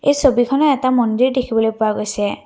এই ছবিখনত এটা মন্দিৰ দেখিবলৈ পোৱা গৈছে।